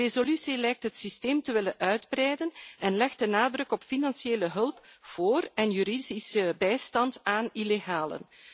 De resolutie lijkt het systeem te willen uitbreiden en legt de nadruk op financiële hulp voor en juridische bijstand aan illegalen.